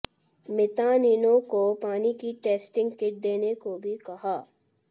मितानिनों को पानी की टेस्टिंग किट देने को भी कहा